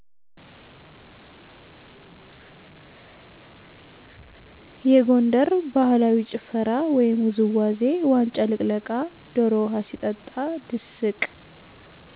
የጎንደር ባህላዊ ጭፈራ ወይም ውዝዋዜ ዋንጫ ልቅለቃ፣ ደሮ ውሃ ሲጠጣ፤ ድስቅ